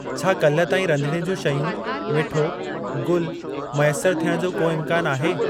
छा काल्ह ताईं रधिणे ज्यूं शयूं, मिठो, गुल मैसर थियण जो को इम्कान आहे?